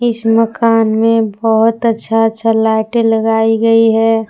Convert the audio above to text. इस मकान में बहुत अच्छा अच्छा लाइटें लगाई गई है।